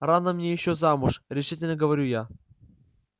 рано мне ещё замуж решительно говорю я